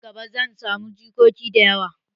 Nan gaba, zan samu jikoki da yawa.